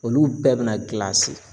Olu bɛɛ bɛna